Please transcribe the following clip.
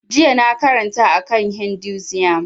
Jiya na karanta a kan hinduism